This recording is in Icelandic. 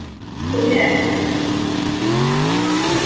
Ertu með?